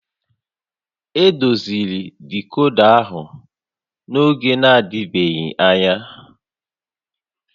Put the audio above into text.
Edoziri dicoda ahụ n'oge na-adịbeghị anya